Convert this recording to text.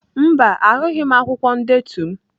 Mba, ahụghị m akwụkwọ ndetu m.